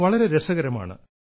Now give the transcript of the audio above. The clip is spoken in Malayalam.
അവ വളരെ രസകരമാണ്